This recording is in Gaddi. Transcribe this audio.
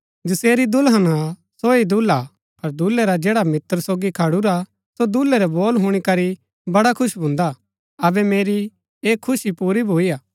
जसेरी दुल्हन हा सो ही दूल्हा हा पर दूल्है रा जैडा मित्र सोगी खडूरा सो दूल्है रै बोल हुणी करी बडा खुश भून्दा अबै मेरी ऐह खुशी पुरी भुईआ